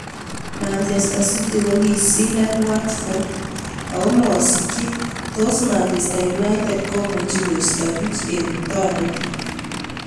(Mirror) Manchester City kokisindon Watford ako masikchi tos Manchester United komuchi koisto puch eng tonot.